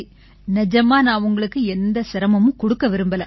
நிஜமா நான் உங்களுக்கு எந்த சிரமமும் கொடுக்க விரும்பலை